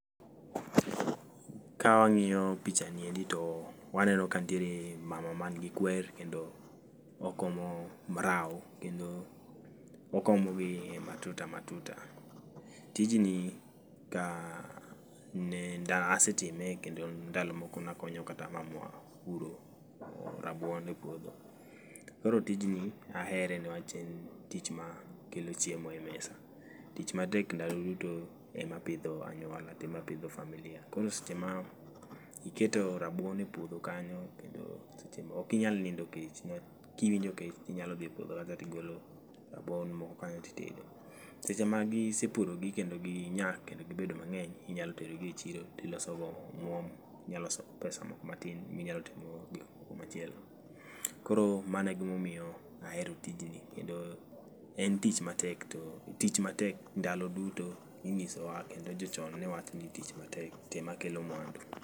Ka wang'iyo picha niendi to waneno ka nitiere mama man gi kwer kendo okomo mrao. Kendo okomo gi e matuta matuta. Tijni ka nenda asetime kendo ndalo moko nakonyo kata mamwa puro rabuon e puodho. Koro tijni ahere niwach en tich ma kelo chiemo e mesa. Tich ma tek ndalo duto e ma pidho anyuola to ema pidho familia. Koro seche ma iketo rabuon e puodho kanyo kendo seche ma okinyal nindo kech niwach kiwinjo kecho tinyalo dhi e puodho kanyo tigolo rabuon moko kanyo titedo. Seche ma gi isepuro gi kendo ginyak kendo gibedo mang'eny inyalo tero gi e chiro tiloso go omuom, inya loso go [c]spesa moko matin minyalo timo go gik moko machielo. Koro mano e gima omiyo ahero tijni kendo en tich matek to tich matek ndalo duto inyiso wa kendo jochon ne wacho ni tich matek to ema kelo mwandu.